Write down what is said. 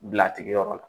Bila tigiyɔrɔ la